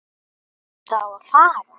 Ertu þá að fara?